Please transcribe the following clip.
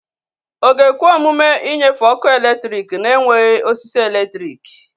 Ọ ga-ekwe omume ịnyefe ọkụ eletrik na-enweghị osisi eletrik?